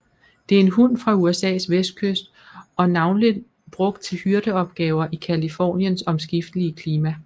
Det er en hund fra USAs vestkyst og navnlig brugt til hyrdeopgaver i Californiens omskiftelige klima